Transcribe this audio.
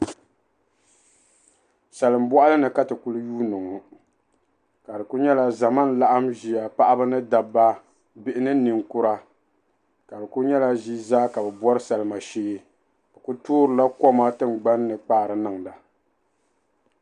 Salli bɔɣili ni Kati kuli yuuni ŋɔ ka di kuli nyɛ ya zama n laɣim ʒi paɣ'ba ni dabba bihi ni ninkura ka di kuli nyɛla ʒii zaa ka bɛ bɔri salima shee bɛ kuli toorila koma tingbani kpaari niŋda.